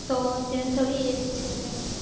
તો અત્યારે થોડી age છે કઈ